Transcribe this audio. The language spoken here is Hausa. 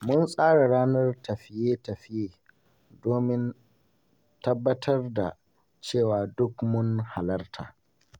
Mun tsara ranar tafiye-tafiye domin tabbatar da cewa duk mun halarta.